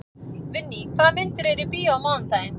Vinný, hvaða myndir eru í bíó á mánudaginn?